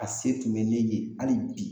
A se tun mɛ ne ye hali bi